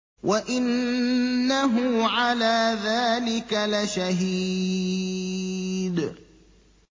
وَإِنَّهُ عَلَىٰ ذَٰلِكَ لَشَهِيدٌ